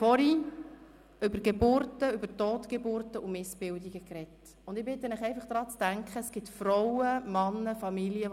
Bevor wir zum Traktandum 32 wechseln, möchte ich noch kurz eine Bemerkung anbringen.